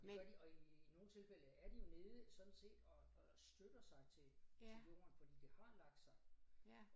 Og det gør de og i nogle tilfælde er de jo nede sådan set og og støtter sig til til jorden fordi det har lagt sig